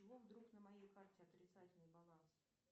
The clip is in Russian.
с чего вдруг на моей карте отрицательный баланс